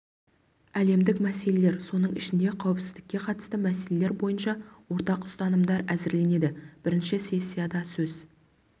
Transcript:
әлемдік мәселелер соның ішінде қауіпсіздікке қатысты мәселелер бойынша ортақ ұстанымдар әзірленеді бірінші сессияда сөз